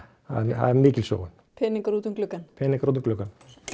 það er mikil sóun peningar út um gluggann peningar út um gluggann